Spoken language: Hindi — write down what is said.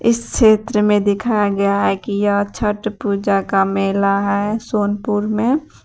इस क्षेत्र में दिखाया गया है कि यह छट पूजा का मेला है सोनपुर में।